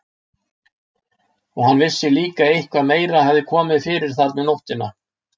Og hann vissi líka að eitthvað meira hafði komið fyrir þarna um nóttina.